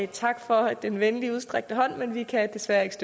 tak for den venligt udstrakte hånd men vi kan desværre ikke